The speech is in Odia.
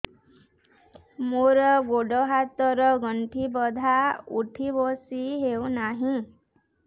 ମୋର ଗୋଡ଼ ହାତ ର ଗଣ୍ଠି ବଥା ଉଠି ବସି ହେଉନାହିଁ